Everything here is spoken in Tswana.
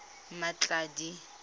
mmatladi